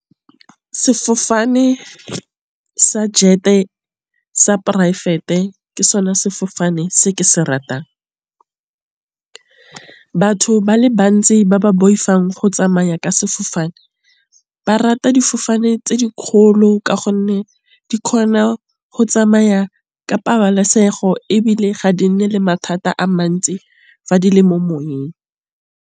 Sefofane sa jet sa poraefete ke sone sefofane se ke se ratang. Batho ba le bantsi ba ba boifang go tsamaya ka sefofane ba rata difofane tse di kgolo. Ka gonne di kgona go tsamaya ka pabalesego, ebile ga di nne le mathata a mantsi fa di le mo moweng.